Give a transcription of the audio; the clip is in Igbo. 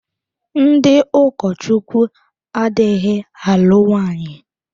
Ndị ụkọchukwu adịghị alụ nwaanyị.